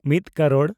ᱢᱤᱫ ᱠᱟᱨᱳᱲ